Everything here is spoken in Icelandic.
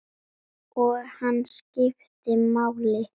Og hann skipti máli.